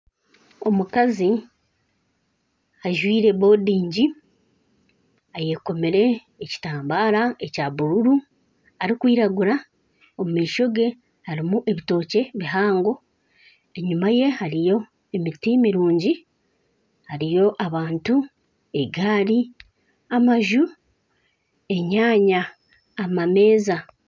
Omukazi ajwire bodingi ayekomire ekitambara ekya bururu arikwiragura omu maisho ge harimu ebitookye bihango, enyima ye hariyo emiti mirungi hariyo abantu egaari amaju, enyaaya na amameeza